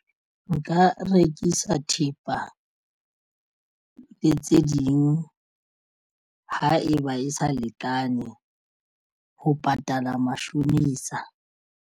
Nka rekisa thepa le tse ding ha eba e sa lekane ho patala mashonisa.